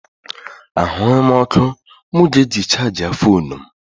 Ahụghị m ọkụ mụ ga-eji chaajị foonu m.